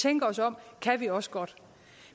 tænker os om kan vi også godt